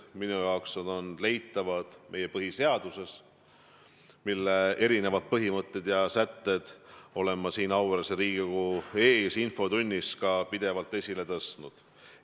Minu jaoks on need leitavad meie põhiseadusest, mille põhimõtteid ja eri sätteid olen ma siin auväärse Riigikogu ees infotunnis ka pidevalt esile tõstnud.